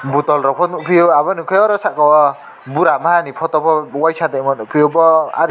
botol rok fo nugfio unkke oro saka o bura maha ni photo bo waisa nigfio bo aro.